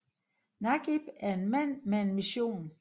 Nagieb er en mand med en mission